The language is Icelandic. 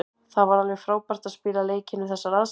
Það var alveg frábært að spila leikinn við þessar aðstæður.